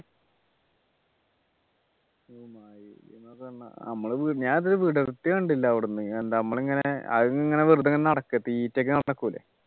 നമ്മള് ഞാനിത് വിടർത്തി കണ്ടില്ല അവിടുന്ന് നമ്മളീങ്ങനെ അതിങ്ങനെ വെറുതെ ഇങ്ങനെ നടക്കുക തീറ്റക്ക് നടക്കൂല്ലേ